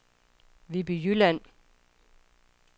Viby Jylland